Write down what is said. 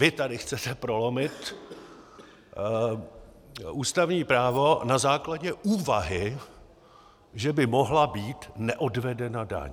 Vy tady chcete prolomit ústavní právo na základě úvahy, že by mohla být neodvedena daň.